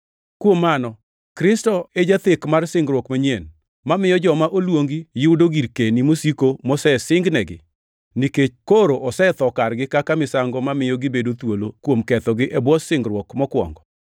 Kuom mano, Kristo e jathek mar singruok manyien, mamiyo joma oluongi yudo girkeni mosiko mosesingnegi, nikech koro osetho kargi kaka misango mamiyo gibedo thuolo kuom kethogi e bwo singruok mokwongo.